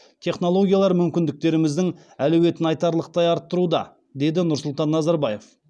технологиялар мүмкіндіктеріміздің әлеуетін айтарлықтай арттыруда деді нұрсұлтан назарбаев